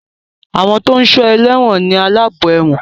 Àwọn tó ń sọ ẹlẹ́wọ̀n ni aláàbò ẹ̀wọ̀n